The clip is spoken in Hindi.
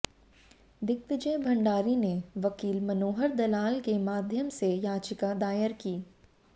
दिग्विजय भंडारी ने वकील मनोहर दलाल के माध्यम से याचिका दायर की